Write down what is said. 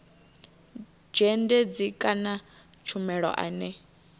dzhendedzi kana tshumelo ane a